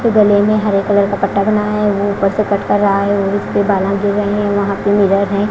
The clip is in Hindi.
गले में हरे कलर का पट्टा बनाया है वो ऊपर से कट कर रहा है वो उसके बाला गिर रहे हैं वो पे मिरर हैं।